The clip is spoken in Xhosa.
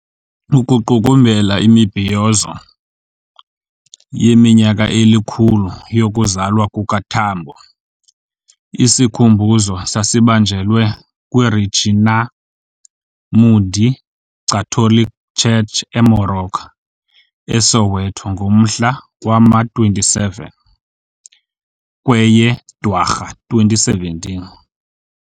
Ukuqukumbela imibhiyozo yeminyaka elikhulu yokuzalwa kukaTambo, isikhumbuzo sasibanjelwe kwiRegina Mundi Catholic Church eMoroka, eSoweto ngomhla wama-27 kweye Dwarha 2017.